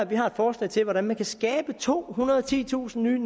vi har et forslag til hvordan man kan skabe tohundrede og titusind nye